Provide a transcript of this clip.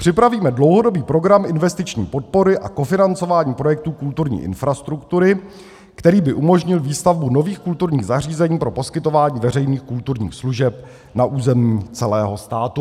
Připravíme dlouhodobý program investiční podpory a kofinancování projektu kulturní infrastruktury, který by umožnil výstavbu nových kulturních zařízení pro poskytování veřejných kulturních služeb na území celého státu.